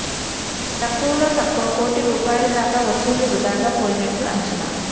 తక్కువలో తక్కువ కోటి రూపాయల దాకా వసూళ్లు వృథాగా పోయినట్లు అంచనా